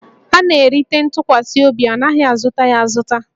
A na-erite ntụkwasị obi, a naghị azụta ya azụta